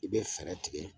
I bɛ fɛɛrɛ tigɛ